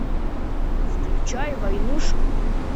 включай войнушку